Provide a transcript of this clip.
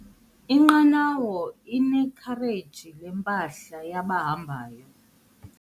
Inqanawa inekhareji lempahla yabahambi.